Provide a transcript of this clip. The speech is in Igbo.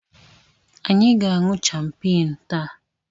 Anyị ga-aṅụ Chapmaanụ taa.